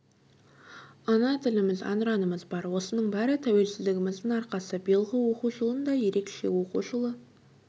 ана тіліміз әнұранымыз бар осының бәрі тәуелсіздігіміздің арқасы биылғы оқу жылын да ерекше оқу жылы